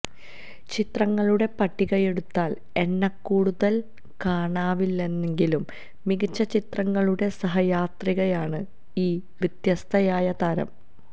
ചിത്രങ്ങളുടെ പട്ടികയെടുത്താല് എണ്ണക്കൂടുതല് കാണാനാവില്ലെങ്കിലും മികച്ച ചിത്രങ്ങളുടെ സഹയാത്രികയാണ് ഈ വ്യത്യസ്തയായ താരം